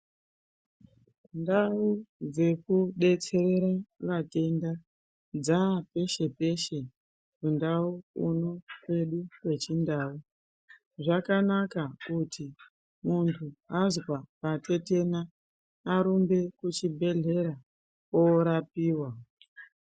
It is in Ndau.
Ndau dzekudetsere vatenda dzapeshe-peshe, kundau kuno kwedu kechindau. Zvakanaka kuti kana muntu azwe patetena arumbe kuchibhedhlera oorapiwa.